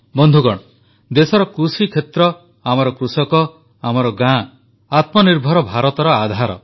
ବନ୍ଧୁଗଣ ଦେଶର କୃଷିକ୍ଷେତ୍ର ଆମର କୃଷକ ଆମର ଗାଁ ଆତ୍ମନିର୍ଭର ଭାରତର ଆଧାର